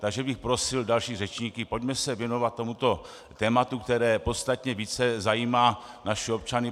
Takže bych prosil další řečníky, pojďme se věnovat tomuto tématu, které podstatně více zajímá naše občany.